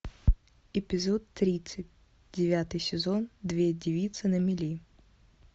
эпизод тридцать девятый сезон две девицы на мели